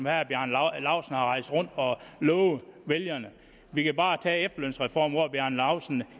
herre bjarne laustsen har rejst rundt og lovet vælgerne vi kan bare tage efterlønsreformen hvor herre bjarne laustsen